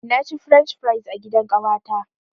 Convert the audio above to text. Na ci french fries a gidan ƙawata.